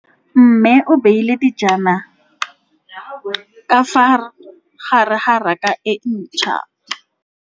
Mmê o beile dijana ka fa gare ga raka e ntšha.